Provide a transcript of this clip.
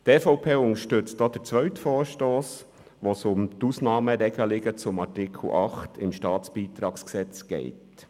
Die EVP unterstützt auch den zweiten Vorstoss, bei dem es um die Ausnahmeregelungen von Artikel 8 StBG geht.